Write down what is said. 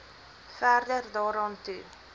verder daaraan toe